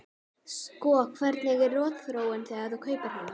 Sko hvernig er rotþróin þegar þú kaupir hana?